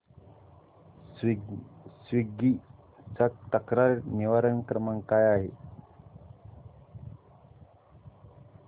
Swiggy चा तक्रार निवारण क्रमांक काय आहे